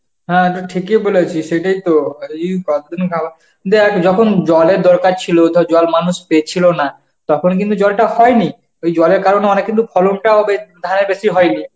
হ্যাঁ তো ঠিকই বলেছিস, সেটাইতো দেখ যখন জলের দরকার ছিল, তো জল মানুষ পেছিল না, তখন কিন্তু জলটা হয়নি. এই জলের কারণে অনেক কিন্তু ফলনটাও দেখ~ হ্যাঁ বেশি হয়নি.